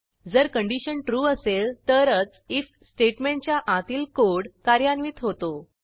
जर condition true असेल तरच आयएफ स्टेटमेंटच्या आतील कोड कार्यान्वित होतो